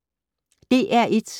DR1